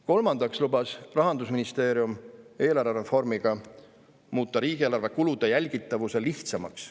Kolmandaks lubas Rahandusministeerium eelarvereformiga muuta riigieelarve kulude jälgitavuse lihtsamaks.